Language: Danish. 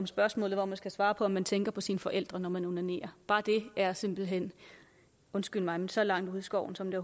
spørgsmålet hvor man skal svare på om man tænker på sine forældre når man onanerer og bare det er simpelt hen undskyld mig så langt ude i skoven som det